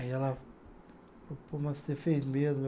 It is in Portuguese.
Aí ela, mas você fez mesmo.